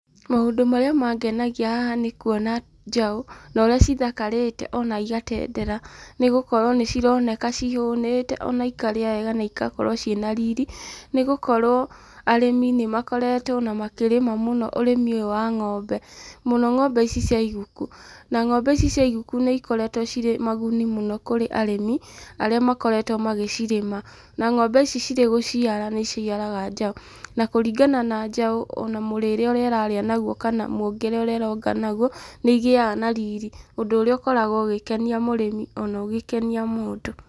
Maũndũ marĩa mangenagia haha nĩkuona njaũ, na ũrĩa cithakarĩte ona igatendera, nĩgũkorwo nĩcironeka cihũnĩte na ikarĩa wega na igakorwo ciĩ na riri, nĩgũkorwo arĩmi nĩmakoretwo ona makĩrĩma mũno ũrĩmi ũyũ wa ng'ombe, mũno ng'ombe ici cia iguku. Na ng'ombe ici cia iguku nĩikoretwo cirĩ na ũguni mũno kũrĩ arĩmi arĩa makoretwo magĩcirĩma. Na ng'ombe ici cirĩ gũciara nĩiciaraga njaũ, na kũringana na njaũ ona mũrĩre ũrĩa ĩrarĩa naguo, kana mũongere ũrĩ ĩronga naguo, nĩ ĩgĩaga na riri, ũndũ ũrĩa ũkoragwo ũgĩkenia mũrĩmi ona ũgĩkenia mũndũ.